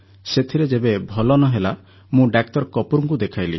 ସେଥିରେ ଯେବେ ଭଲ ନ ହେଲା ମୁଁ ଡାକ୍ତର କପୁରଙ୍କୁ ଦେଖାଇଲି